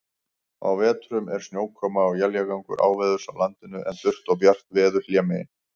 Á vetrum er snjókoma og éljagangur áveðurs á landinu, en þurrt og bjart veður hlémegin.